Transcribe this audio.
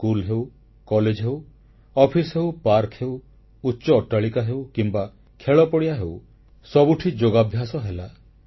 school ହେଉ college ହେଉ office ହେଉ ପାର୍କ ହେଉ ଉଚ୍ଚ ଅଟ୍ଟାଳିକା ହେଉ କିମ୍ବା ଖେଳପଡ଼ିଆ ହେଉ ସବୁଠି ଯୋଗାଭ୍ୟାସ ହେଲା